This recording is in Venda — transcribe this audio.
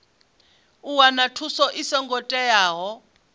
u wana thuso i songo teaho